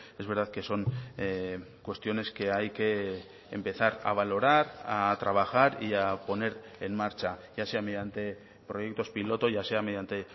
es verdad que son cuestiones que hay que empezar a valorar a trabajar y a poner en marcha ya sea mediante proyectos piloto ya sea mediante